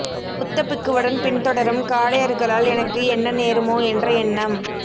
புத்த பிக்குவுடன் பின்தொடரும் காடையர்களால் எனக்கு என்ன நேருமோ என்ற எண்ணம்